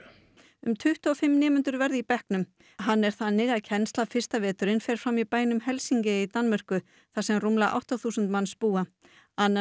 um tuttugu og fimm nemendur verða í bekknum hann er þannig að kennslan fyrsta veturinn fer fram í bænum Helsinge í Danmörku þar sem rúmlega átta þúsund manns búa annan